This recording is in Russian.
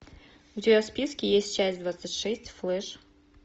у тебя в списке есть часть двадцать шесть флеш